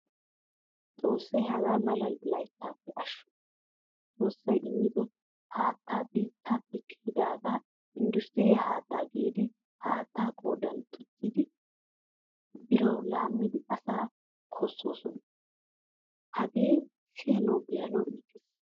Xoossay hagaamala layttappe ashsho. Xoossay immido haattaa biittappe kiyidaga industiriya haattaa giidi haattaa koddan tuccidi birawu laamidi asa kaososona. Hagee siyanawu be'anawu iitees.